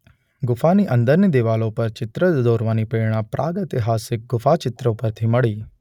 ગુફાની અંદરની દીવાલો પર ચિત્રો દોરવાની પ્રેરણા પ્રાગૈતિહાસિક ગુફાચિત્રો પરથી મળી.